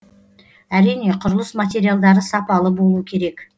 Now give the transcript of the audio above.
әрине құрылыс материалдары сапалы болу керек